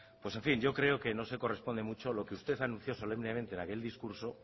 pues en fin yo creo que no se corresponde mucho lo que usted anunció solemnemente en aquel discurso